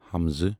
ء